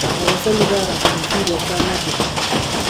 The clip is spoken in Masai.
tapasali taara tifi te saa nabo